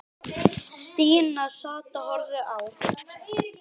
Stína sat og horfði á.